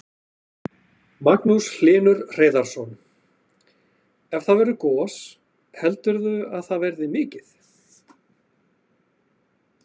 Magnús Hlynur Hreiðarsson: Ef það verður gos, heldurðu að það verði mikið?